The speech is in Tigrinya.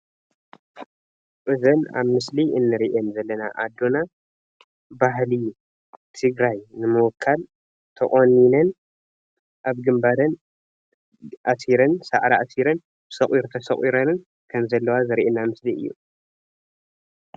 እዘን ኣብ ምስሊ እንርእየን ዘለና ኣዶና ባህሊ ትግራይ ንምውካል ተቆኒነን ኣብ ግንባረን ኣሲረን ሳዕሪ ኣሲረን ሶቒር ተሰቑረንን ከም ዘለዋ ዘረእየና ምስሊ እዩ።